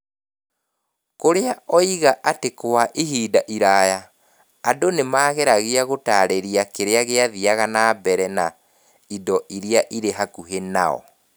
Kuria oiga atĩ kwa ihinda iraya, andũ nĩ maageragia gũtaarĩria kĩrĩa gĩathiaga na mbere na indo iria irĩ hakuhĩ nao.